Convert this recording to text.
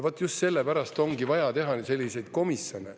Vaat just sellepärast ongi vaja teha selliseid komisjone.